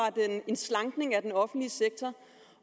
en slankning af den offentlige sektor